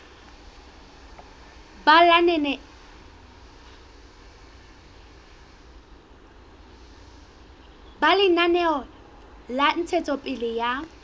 ba lenaneo la ntshetsopele ya